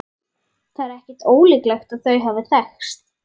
Það er ekki ólíklegt að þau hafi þekkst.